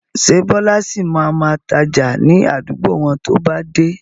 Ṣé Bọlá sì máa ma tája ni àdúgbò wọn to bá dé?